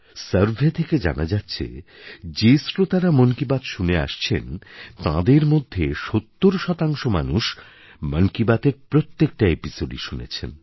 survey থেকে জানা যাচ্ছে যে শ্রোতারা মন কি বাত শুনে আসছেন তাঁদের মধ্যে সত্তর শতাংশ মানুষ মন কি বাতএর প্রত্যেকটা এপিসোডই শুনেছেন